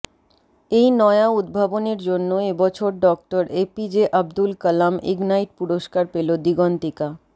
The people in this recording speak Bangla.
এই নয়া উদ্ভাবনের জন্য এবছর ডঃ এপিজে আব্দুল কালাম ইগনাইট পুরস্কার পেল দিগন্তিকা